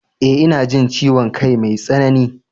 eh ina jin ciwon kai mai tsanani